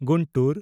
Guntur